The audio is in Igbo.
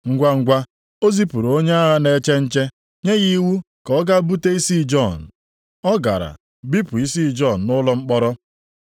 Ngwangwa o zipụrụ onye agha na-eche nche nye ya iwu ka ọ gaa bute isi Jọn. Ọ gara, bipụ isi Jọn nʼụlọ mkpọrọ,